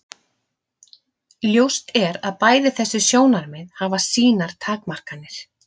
Ljóst er að bæði þessi sjónarmið hafa sínar takmarkanir.